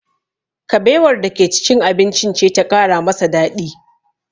Kabewar da ke cikin abincin ce ta ƙara masa daɗi